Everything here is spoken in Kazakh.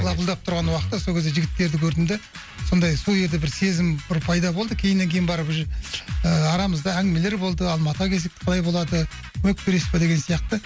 лапылдап тұрған уақыты сол кезде жігіттерді көрдім де сондай сол кезде бір сезім бір пайда болды кейіннен кейін барып уже ыыы арамызда әңгімелер болды алматыға келсек қалай болады көмек бересіз бе деген сияқты